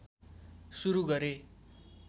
सुरु गरे